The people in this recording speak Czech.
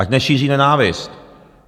Ať nešíří nenávist!